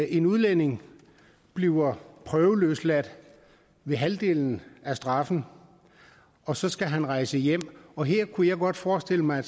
en udlænding bliver prøveløsladt ved halvdelen af straffen og så skal han rejse hjem og her kunne jeg godt forestille mig